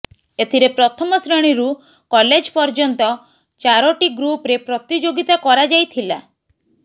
ଏଥିରେ ପ୍ରଥମ ଶ୍ରେଣୀରୁ କଲେଜ ପର୍ଯ୍ୟନ୍ତ ଚାରୋଟି ଗ୍ରୁପରେ ପ୍ରତିଯୋଗିତା କରାଯାଇଥିଲା